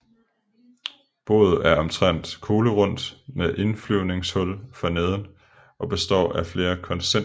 Boet er omtrent kuglerundt med indflyvningshul forneden og består af flere koncentriske skaller